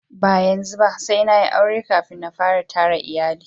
yanzu ba sai an yi aure na kafin a fara iyali